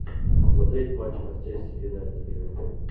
смотреть матч манчестер юнайтед ливерпуль